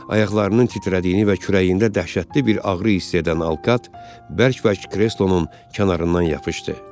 Ayaqlarının titrədiyini və kürəyində dəhşətli bir ağrı hiss edən Alkat bərk-bərk kreslonun kənarından yapışdı.